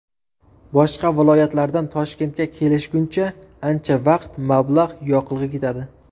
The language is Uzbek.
Boshqa viloyatlardan Toshkentga kelishguncha, ancha vaqt, mablag‘, yoqilg‘i ketadi.